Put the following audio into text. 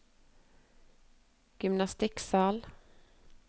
gymnastikksal